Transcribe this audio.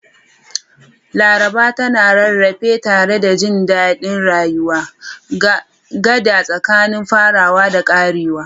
Laraba tana rarrafe tare da jin daɗin rayuwa, gada tsakanin farawa da ƙarewa.